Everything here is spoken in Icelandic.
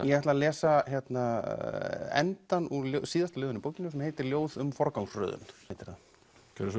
ég ætla að lesa endann úr síðasta ljóðinu í bókinni sem heitir ljóð um forgangsröðun gjörðu svo